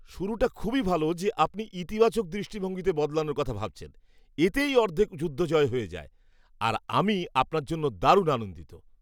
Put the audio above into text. শুরুটা খুবই ভালো যে আপনি ইতিবাচক দৃষ্টিভঙ্গিতে বদলানোর কথা ভাবছেন। এতেই অর্ধেক যুদ্ধ জয় হয়ে যায় আর আমি আপনার জন্য দারুণ আনন্দিত।